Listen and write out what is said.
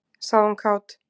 sagði hún kát.